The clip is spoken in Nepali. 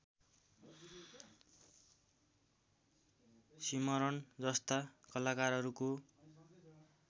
सिमरन जस्ता कलाकारहरूको